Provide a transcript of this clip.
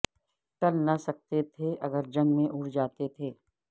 ٹل نہ سکتے تھے اگر جنگ میں اڑ جاتے تھے